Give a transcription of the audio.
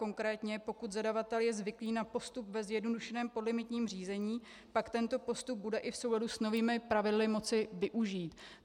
Konkrétně pokud zadavatel je zvyklý na postup ve zjednodušeném podlimitním řízení, pak tento postup bude i v souladu s novými pravidly moci využít.